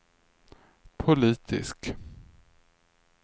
politisk